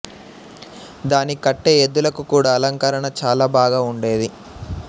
దానికి కట్టే ఎద్దులకు కూడా అలంకరణ చాల బాగా వుండేది